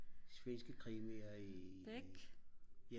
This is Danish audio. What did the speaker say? svenske krimier i ja